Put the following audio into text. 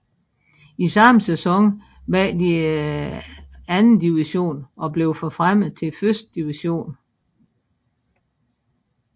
I samme sæson vandt de andendivision og blev forfremmet til førstedivision